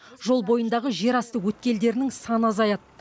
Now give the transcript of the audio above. жол бойындағы жерасты өткелдерінің саны азаяды